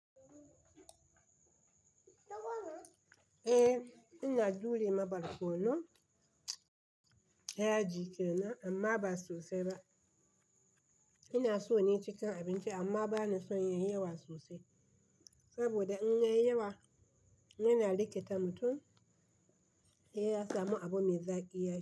Eh ina dure ma barkono yaji kenan amma ba sosai ba. Ina so nai cikin abinci amma bana son yayi yawa sosai, saboda in yayi yawa yana rikita mutum he ya samu abu me zaƙi yaci.